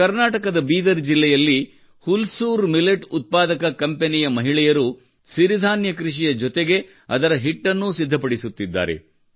ಕರ್ನಾಟಕದ ಬೀದರ್ ಜಿಲ್ಲೆಯಲ್ಲಿ ಹುಲ್ಸೂರು ಉತ್ಪಾದಕ ಕಂಪನಿಗೆ ಸೇರಿದ ಮಹಿಳೆಯರು ಸಿರಿಧಾನ್ಯ ಕೃಷಿಯ ಜೊತೆಗೆ ಅವರ ಹಿಟ್ಟನ್ನು ಸಿದ್ಧಪಡಿಸುತ್ತಿದ್ದಾರೆ